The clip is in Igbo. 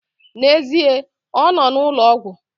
N'ezie, ọ nọ n'ụlọ ọgwụ